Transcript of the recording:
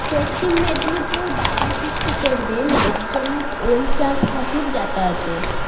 পশ্চিম মেদিনীপুর বাধা সৃষ্টি করবে লাভজনক ওল চাষ হাতির যাতায়াতে